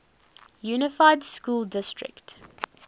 unified school district